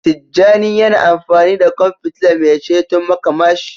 Tijjani yana amfani da kwan fitila mai ceton makamashi.